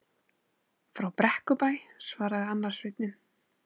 Frá Brekkubæ, svaraði annar sveinninn.